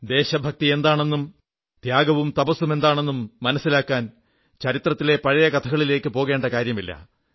ദേശഭക്തി എന്താണെന്നും ത്യാഗവും തപസ്സും എന്താണെന്നും മനസ്സിലാക്കാൻ ചരിത്രത്തിലെ പഴയ കഥകളിലേക്കു പോകേണ്ട കാര്യമില്ല